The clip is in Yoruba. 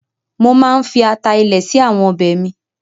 Mo máa ń fi ata ilẹ̀ sí àwọn ọbẹ̀ mi.